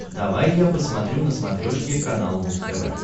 давай я посмотрю на смотрешке канал муз тв